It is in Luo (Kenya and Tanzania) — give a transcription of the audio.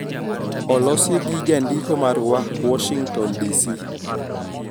Olosi gi jandiko marwa ,Washington, DC,